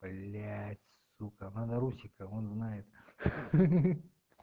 блять сука надо русика он знает ха-ха